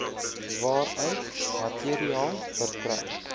waaruit materiaal verkry